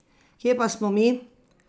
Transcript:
Kje pa smo mi?